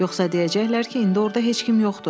Yoxsa deyəcəklər ki, indi orada heç kim yoxdur.